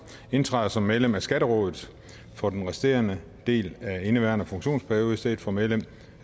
indtræder som medlem af skatterådet for den resterende del af indeværende funktionsperiode i stedet for medlem